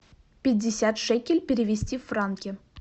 пятьдесят шекель перевести в франки